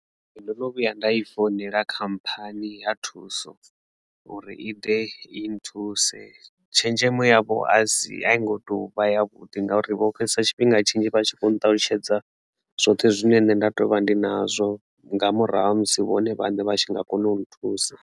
Ee, ndo no vhuya nda i founela khamphani ya thuso uri i ḓe i nthuse tshenzhemo yavho asi a i ngo tovha ya vhuḓi ngauri vho fhedzesa tshifhinga tshinzhi vha tshi kho u ṱalutshedza zwoṱhe zwine nṋe nda tovha ndi nazwo nga murahu ha musi vhone vhaṋe vha tshi nga kona u nthusa.